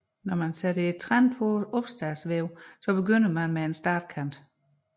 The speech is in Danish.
Ved opsætning af trend på opstadsvæven begynder man med en startkant